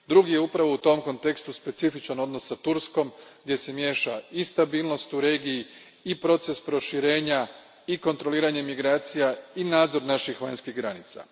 Drugo je upravo u tom kontekstu specifičan odnos s Turskom, gdje se miješa i stabilnost u regiji i proces proširenja i kontroliranje migracija i nadzor naših vanjskih granica.